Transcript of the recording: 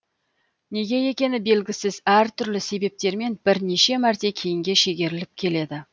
неге екені белгісіз әртүрлі себептермен бірнеше мәрте кейінге шегеріліп келеді